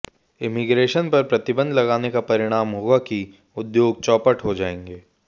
immigration पर प्रतिबंध लगाने का परिणाम होगा कि उद्योग चौपट हो जाएंगे